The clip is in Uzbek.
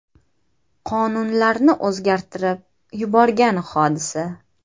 Qonunlarni o‘zgartirib yuborgan hodisa.